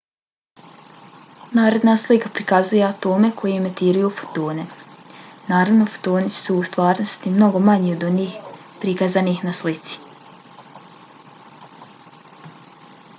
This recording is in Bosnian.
naredna slika prikazuje atome koji emitiraju fotone. naravno fotoni su u stvarnosti mnogo manji od onih prikazanih na slici